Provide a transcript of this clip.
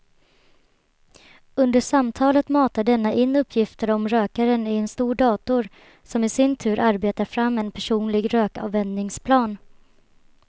Under samtalet matar denna in uppgifter om rökaren i en dator som i sin tur arbetar fram en personlig rökavvänjningsplan.